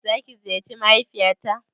Za ka ziyarci mahaifiya ta?